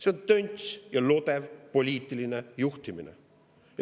See on tönts ja lodev poliitiline juhtimine.